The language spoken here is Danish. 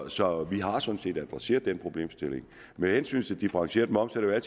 så vi har sådan set adresseret den problemstilling med hensyn til differentieret moms er